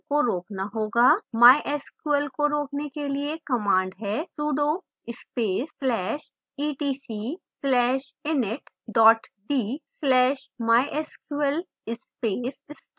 mysql को रोकने के लिए command है: sudo space/etc/init d/mysql space stop